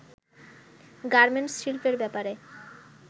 garments শিল্পের ব্যাপারে